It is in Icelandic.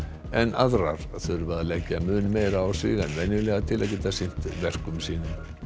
en aðrar þurfa að leggja mun meira á sig en venjulega til þess að geta sinnt verkum sínum